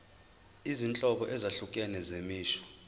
izinhlobo ezahlukene zemisho